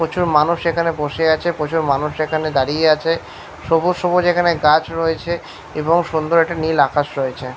প্রচুর মানুষ এখানে বসে আছে । প্রচুর মানুষ এখানে দাঁড়িয়ে আছে । সবুজ সবুজ এখানে গাছ রয়েছে এবং সুন্দর একটি নীল আকাশ রয়েছে।